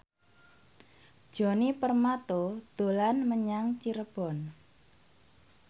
Djoni Permato dolan menyang Cirebon